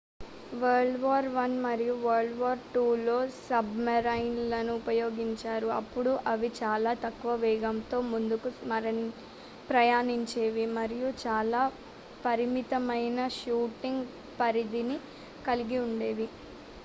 world war i మరియు world war iiలో సబ్‌మెరైన్‌లను ఉపయోగించారు. అప్పుడు అవి చాలా తక్కువ వేగంతో ముందుకు ప్రయాణించేవి మరియు చాలా పరిమితమైన షూటింగ్ పరిధిని కలిగి ఉండేవి